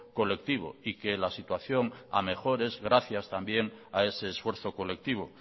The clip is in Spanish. colectivo y que la situación a mejor es gracias también a ese esfuerzo colectivo